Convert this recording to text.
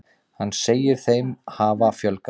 Hann segir þeim hafa fjölgað.